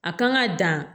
A kan ka dan